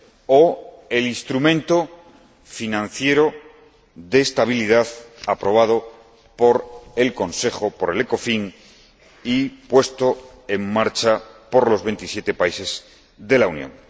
o el Instrumento Financiero de Estabilidad aprobado por el Consejo, por el Ecofin, y puesto en marcha por los veintisiete países de la Unión.